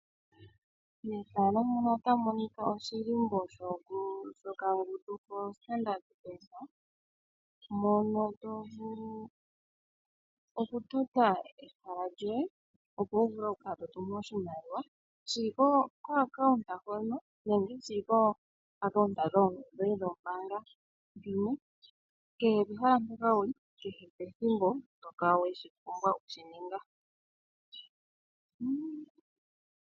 Mefano muno otamu monika oshilimbo sho kangundu koStandard Bank mono to vulu oku tota ehala lyoye opo wu vule oku kala to tumu oshimaliwa shili ko account hono nenge shili kooacount dhoye dhombanga. Kehe pehala mpoka wuli kehe pethimbo oto vulu oku kala weshi ninga.